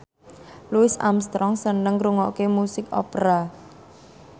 Louis Armstrong seneng ngrungokne musik opera